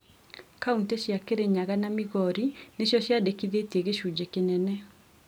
Kauntĩ cia kĩrĩnyaga na Migori nicio ciandĩkithirie gĩcunjĩ kĩnene